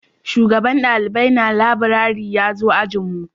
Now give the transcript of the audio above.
Shugaban dalibai na laburare ya zo ajin mu